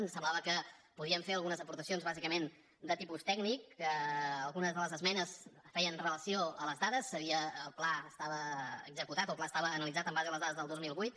ens semblava que podíem fer algunes aportacions bàsicament de tipus tècnic que algunes de les esmenes feien relació a les dades el pla estava executat o el pla estava analitzat en base a les dades del dos mil vuit